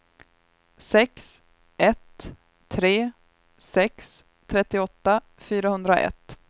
sex ett tre sex trettioåtta fyrahundraett